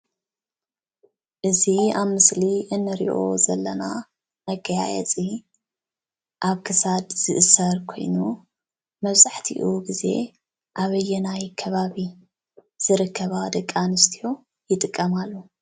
እዚ ኣብ ምስሊ እንሪኦ ዘለና መገያየፂ ኣብ ክሳድ ዝእሰር ኮይኑ መብዛሕትኡ ግዜ ኣብየናይ ከባቢ ዝርከባ ደቂ ኣነስትዮ ይጥቀማሉ?